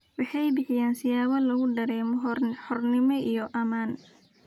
Waxay bixiyaan siyaabo lagu dareemo xornimo iyo ammaan.